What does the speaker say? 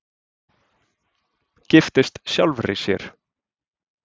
Giftist sjálfri sér